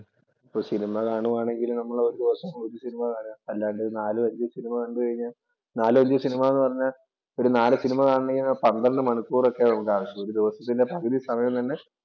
ഇപ്പോ സിനിമ കാണുവാണെങ്കിൽ നമ്മൾ ഒരു ദിവസം ഒരു സിനിമ കാണുക. അല്ലാണ്ട് നാലു അഞ്ചു സിനിമ കണ്ടു കഴിഞ്ഞാൽ നാലു അഞ്ചു സിനിമ എന്ന് പറഞ്ഞാൽ ഒരു നാല് സിനിമ കാണണമെങ്കി ഒരു പന്ത്രണ്ട് മണിക്കൂർ ഒക്കെ ഉണ്ടാവും. ഒരു ദിവസത്തിന്‍റെ പകുതി സമയം തന്നെ